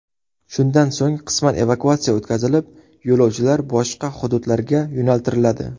Shundan so‘ng, qisman evakuatsiya o‘tkazilib, yo‘lovchilar boshqa hududlarga yo‘naltiriladi.